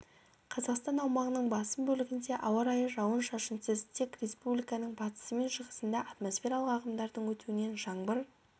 қазақстан аумағының басым бөлігінде ауа райы жауын-шашынсыз тек республиканың батысы мен шығысында атмосфералық ағымдардың өтуінен жаңбыр